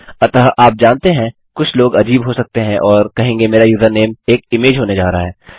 अतः आप जानते हैं कुछ लोग अजीब हो सकते हैं और कहेंगे मेरा यूजरनेम एक इमेज होने जा रहा है